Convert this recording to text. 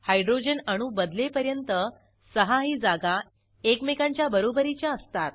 hydrogen अणू बदलेपर्यंत सहाही जागा एकमेकांच्या बरोबरीच्या असतात